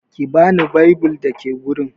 Ki bani bible da ke wurin.